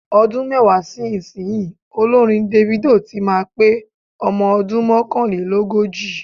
Ọdún mẹ́wàá sí ìsinyìí, olórin Davido tí máa pé ọmọ ọdún mọ́kànlélógójì.